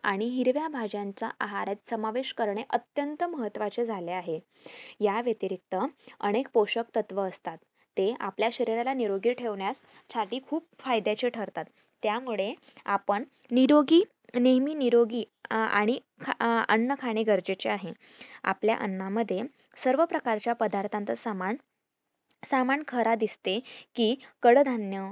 निरोगी नेहेमी निरोगी अं आणि आह अन्न खाणे गरजेचे आहे आपल्या अन्ना मध्ये सर्व प्रकारच्या चा सामान सामान खरा दिसते कि कडधान्य